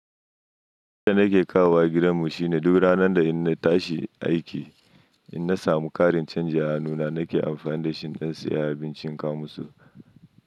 Abin da nake kawowa gidanmu shine duk ranar da ina tashi aiki, ina samu ƙarin canji a hannuna nake amfani da shi don siyan abincin kamusu.